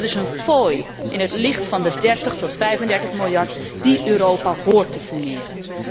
Dat is een fooi in het licht van de 30 tot 35 miljard die Europa hoort te fourneren.